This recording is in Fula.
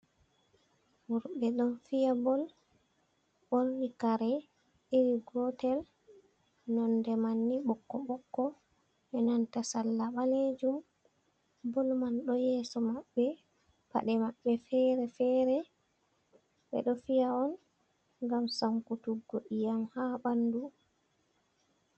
Worɓe ɗon fiya bol ɓorni kare iri gotel nonde mani bokko bokko e nanta sala ɓalejum bol man ɗo yeso maɓɓe paɗe maɓɓe fere-fere, ɓeɗo fiya on gam sankutuggo iyam ha ɓandu.